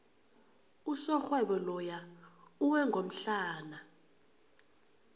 usomarhwebo loya uwe ngomhlana